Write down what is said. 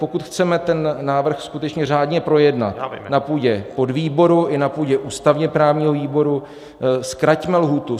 Pokud chceme ten návrh skutečně řádně projednat na půdě podvýboru i na půdě ústavně-právního výboru, zkraťme lhůtu.